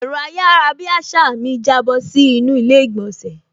Ẹ̀rọ ayarabiasa mi jábọ́ sí inú ilé ìgbònsẹ̀